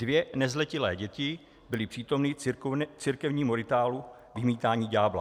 Dvě nezletilé děti byly přítomny církevnímu rituálu vymítání ďábla.